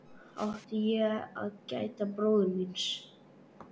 Átti ég að gæta bróður míns?